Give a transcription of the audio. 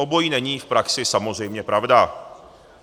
Obojí není v praxi samozřejmě pravda.